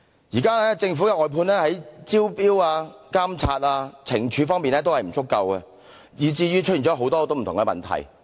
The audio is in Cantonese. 現時政府的外判工作在招標、監察、懲處方面均有不足，以致出現很多不同的問題。